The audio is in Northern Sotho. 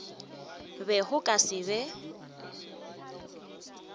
be go ka se be